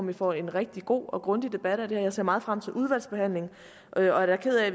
vi får en rigtig god og grundig debat og jeg ser meget frem til udvalgsbehandlingen og jeg er ked af